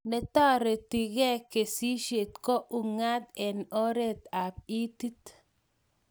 Netareti ke kasishen ko ungat eng oret ap itit